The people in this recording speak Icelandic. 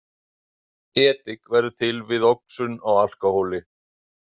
Edik verður til við oxun á alkóhóli.